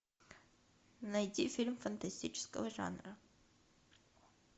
найди фильм фантастического жанра